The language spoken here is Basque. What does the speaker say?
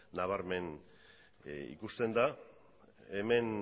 nabarmen ikusten da hemen